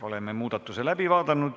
Oleme muudatuse läbi vaadanud.